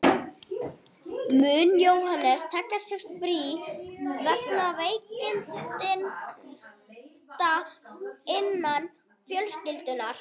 Mun Jóhannes taka sér frí vegna veikinda innan fjölskyldunnar.